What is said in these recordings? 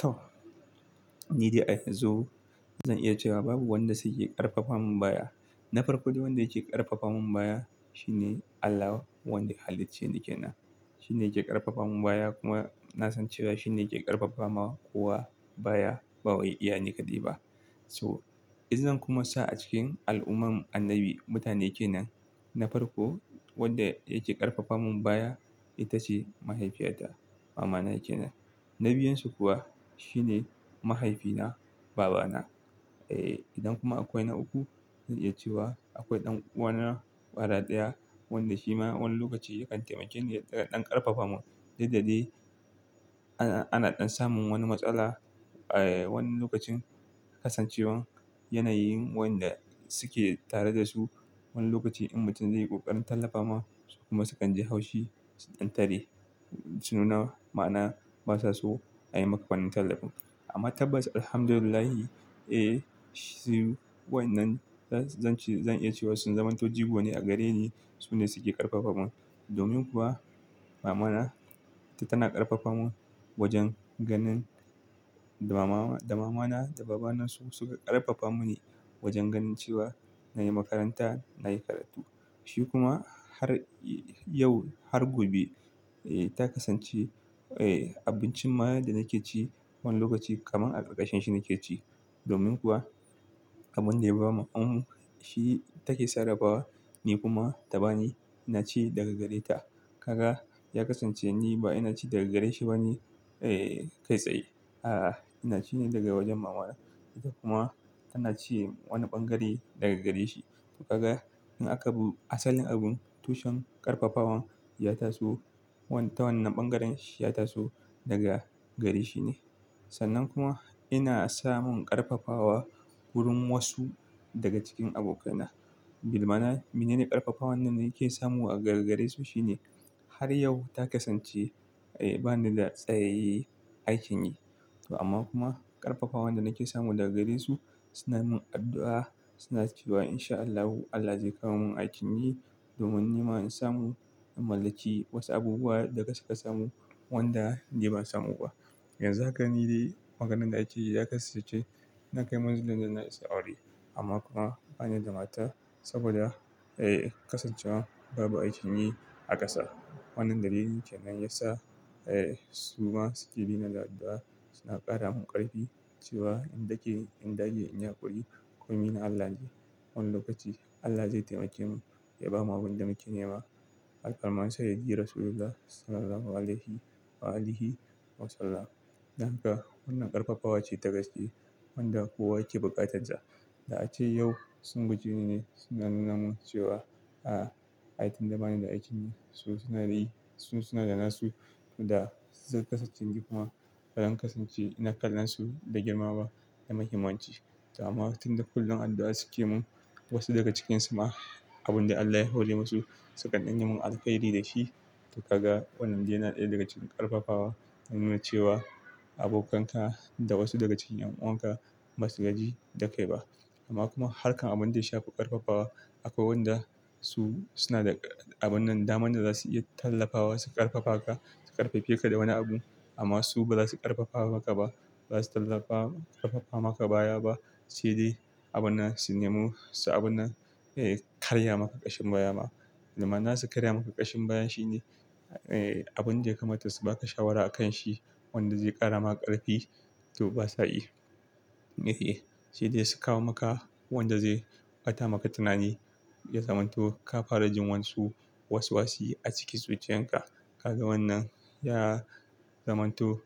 To, ni dai a yan zu zan iya cewa babu wanda suke ƙarfafamin baya. Na farko dai wanda yake ƙarfafamun baya shine Allah wanda ya halicceni kenan. Shi ne yake ƙarfafamun baya kuma na san cewa shi ne yake ƙarfafawa kowa baya, ba wai iya niƙaɗai ba. To, in zan kuma sa a cikin al'umman annabi mutane kenan, na farko wanda yake ƙarfafamun baya ita ce mahaifiyata, mamana kenan. Na biyun su kuwa shi ne mahaifina, babana. Eh, idan kuma akwai na uku zan iya cewa akwai ɗan uwana kwara ɗaya wanda shi ma wani lokaci yakan taimake ni ya ka ɗan ƙarfafamun. Duk da daii ana, ana ɗan samun wani matsala, eh wani lokacin kasancewan yanayin wanda suke tare da su. Wani lokaci in mutum zai yi ƙoƙarin tallafa ma su kuma sukan ji haushi, su ɗan tare, su nuna ma'ana basa so a yi maka wannan tallafin. Amma tabbas Alhamdulillahi, eh shi wayannan zan, zan ce zan iya cewa sun zamanto jigo ne a gare ni. Su ne suke ƙarfafa min. Domin kuwa mamana ita tana ƙarfafa min. Wajen ganin da mama, da mamana da babana su suka ƙarfafa muni wajen ganin cewa na yi makaranta, na yi karatu. Shi kuma har yau har gobe eh ta kasance, eh abincin ma da nake ci wani lokaci kaman a ƙarƙashin shi nake ci. Domin kuwa abin da yaba mamanmu shi take sarrafa ni kuma ta bani, na ci daga gare ta. Kaga, ya kasance ni ba ina ci daga gare shi ba ne, eh kai tsaye. A'a, ina ci ne daga wajen mama na. Kuma tana ce wani ɓangare daga gare shi. To kaga in aka bi asalin abun tushen ƙarfafawan ya taso wanda ta wannan ɓangaren shi ya taso daga gare shi ne. Sannan kuma ina samun ƙarfafawa wurin wasu daga cikin abokana. Gir mana, mene ne ƙarfafawan da nake samu a gargare su shi ne har yau ta kasance, eh ba ni da tsayayye aikin yi. Amma kuma ƙarfafawan da nake samu daga gare su suna min addu'a. Suna cewa in sha Allahu Allah zai kawo min aikin yi, domin nima in samu in mallaki wasu abubuwa da ga suka samu wanda ni ban samu ba. Yanzu haka ni dai maganan da akeyi ya kasance na kai munzulin da na isa aure. Amma kuma bani da mata saboda, eh kasancewa babu aikin yi a ƙasa. Wannan dalilin kenan yasa, eh su ma suke bina da addu'a suna ƙara min ƙarfi cewa in dake, in dage, in yi haƙuri komi na Allah ne. Wani lokaci Allah zai taimake mu ya ba mu abin da muke nema. Halkan man sayyadi Rasullullah sallallahu alaihi wa alihi wa sallam. Don haka wannan ƙarfafawa ce ta gaske wanda kowa yake buƙatar ta. Da ace yau sun guje ni ne suna nuna mun cewa, a ai tunda bani da aikin yi su suna yi su suna da nasu. Da zai kasance ni kuma ba zan kasance ina kallon su da girmaba da mahimmanci. Amma tun da kullum addu'a suke mun wasu daga cikinsu ma abin da Allah ya hore masu, su kanɗan yi mun alheri da shi. To kaga wannan yana ɗaya daga cikin ƙarfafawa na nuna cewa abokanka da wasu daga cikin ƴan uwan ka ba su gaji da kai ba. Amma kuma harkan abin da ya shafi ƙarfafawa akwai wanda su suna da abun nan daman da za su iya tallafawa su ƙarfafa ka, su ƙarfafe ka da wani abu amma su ba za su ƙarfafa maka ba. Ba za su tallafa ƙarfafa maka baya ba. Sai dai abin nan su nemu su abin nan, eh karya maka ƙashin baya ma. Domin na za su karya maka ƙashin baya shine, eh abin da ya kamata su ba ka shawara a kan shi wanda zai ƙara ma ƙarfi to basa yii. Eh, sai dai su kawo maka wanda zai bata maka tunani ya zamanto ka fara jin wayansu waswasi a cikin zuciyan ka. Kaga wannan ya zamanto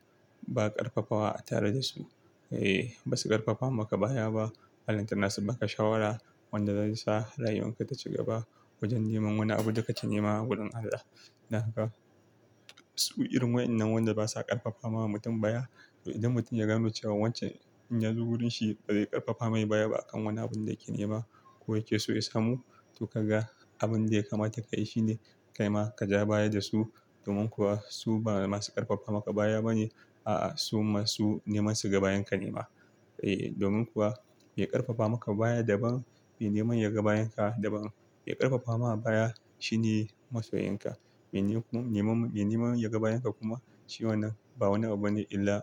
ba ƙarfafawa a tare da su. Eh basu ƙarfafa maka baya ba. Ballan tana su ma ka shawara wanda zai sa rayuwan ka ta ci gaba wajen neman wani abu da kake nema a gurin Allah. Don haka su irin wayannan wanda basa ƙarfafa ma mutum baya. To idan mutum ya gano cewa wancan in ya zo wurin shi ba zai ƙarfafa mai baya ba a kan wani abun da yake nema ko yake so ya samu. To kaga abin da ya kamata ka yi shine kai ma ka ja baya da su. Domin kuwa su ba masu ƙarfafa maka baya ba ne. A'a su masu neman su ga ba yan ka nema. Eh domin kuwa, mai ƙarfafa maka baya daban, mai nema ya ga bayan ka daban. Mai ƙarfafa ma baya shine masoyin ka. Mai ne kuma, mai neman ya ga bayan ka kuma shi wannan ba wani abu bane illa.